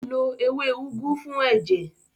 Ó lo ewé úgú fún ẹ̀jẹ̀.